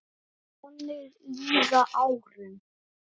Þannig líða árin.